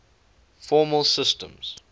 formal systems